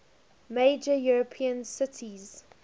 major european cities